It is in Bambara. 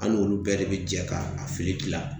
An n'olu bɛɛ de bi jɛ ka a fili gilan.